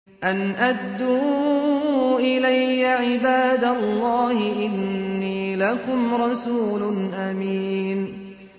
أَنْ أَدُّوا إِلَيَّ عِبَادَ اللَّهِ ۖ إِنِّي لَكُمْ رَسُولٌ أَمِينٌ